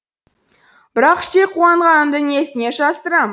бірақ іштей қуанғанымды несіне жасырам